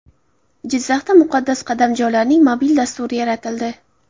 Jizzaxda muqaddas qadamjolarning mobil dasturi yaratildi.